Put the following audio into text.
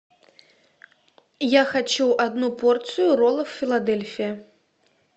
я хочу одну порцию роллов филадельфия